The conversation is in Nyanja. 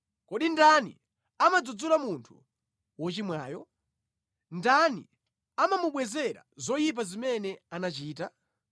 Kodi ndani amadzudzula munthu wochimwayo? Ndani amamubwezera zoyipa zimene anachita?